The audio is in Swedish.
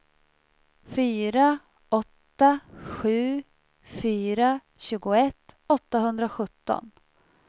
fyra åtta sju fyra tjugoett åttahundrasjutton